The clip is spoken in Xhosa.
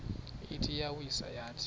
ithi iyawisa yathi